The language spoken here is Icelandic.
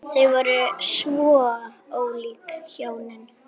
Þau voru svo ólík hjónin.